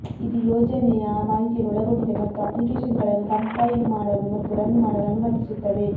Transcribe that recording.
ಇದು ಯೋಜನೆಯ ಮಾಹಿತಿಯನ್ನು ಒಳಗೊಂಡಿದೆ ಮತ್ತು ಅಪ್ಲಿಕೇಶನ್ಗಳನ್ನು ಕಂಪೈಲ್ ಮಾಡಲು ಮತ್ತು ರನ್ ಮಾಡಲು ಅನುಮತಿಸುತ್ತದೆ